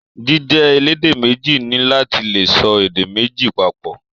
Jíjẹ elédè méjì ni láti lè sọ èdè méjì papọ.